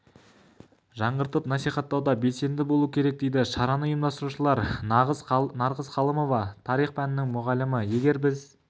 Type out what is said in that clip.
жаңғыртып насихаттауда белсенді болу керек дейді шараны ұйымдастырушылар нарғыз қалымова тарих пәнінің мұғалімі егер біз